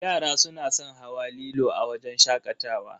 Yara suna san hawa lilo a wajen shakatawa.